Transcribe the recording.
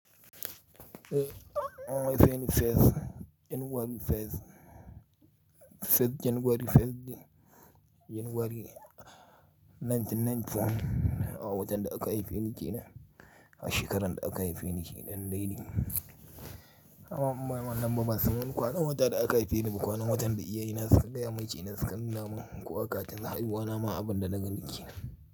On January 1st, January 1st, 1st January 1st January 1994, awon watan da aka haife ni ke nan, shekaran da aka haife ni ke nan dai dim. Amma ban lamba ba saboda kwanan wata da aka haife ni da kwanan watan da iya ina suka, ga yammacin ina suka, namanku akatin zahiri wo nama abunda na gani ke nan.